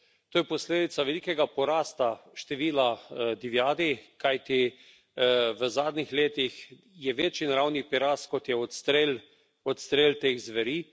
To je posledica velikega porasta števila divjadi, kajti v zadnjih letih je večji naravni prirast, kot je odstrel teh zveri.